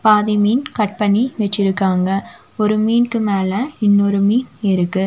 பாதி மீன் கட் பண்ணி வச்சிருக்காங்க ஒரு மீனுக்கு மேல இன்னொரு மீன் இருக்கு.